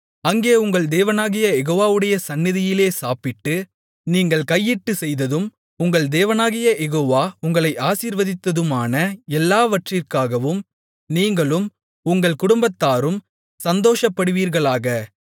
அங்கே உங்கள் தேவனாகிய யெகோவாவுடைய சந்நிதியிலே சாப்பிட்டு நீங்கள் கையிட்டுச் செய்ததும் உங்கள் தேவனாகிய யெகோவா உங்களை ஆசீர்வதித்ததுமான எல்லாவற்றிக்காகவும் நீங்களும் உங்கள் குடும்பத்தாரும் சந்தோஷப்படுவீர்களாக